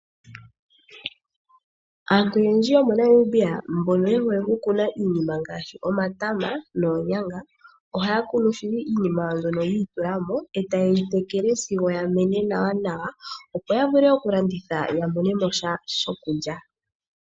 Aantu oyendji yomoNamibia mbono yehole okukuna iinima ngaashi omatama noonyanga, ohayeyi kunu shili yiitulamo etayeyi tekele sigo yamene nawa, opo yavule okulanditha yamone mosha shokulya.